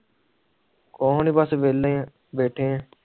ਕੁਜ ਨੀ ਬਸ ਵੇਹਲੇ ਬੈਠੀ ਆ